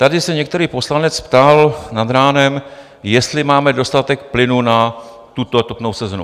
Tady se některý poslanec ptal nad ránem, jestli máme dostatek plynu na tuto topnou sezónu.